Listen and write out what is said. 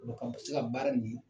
a bɛ se ka baara nin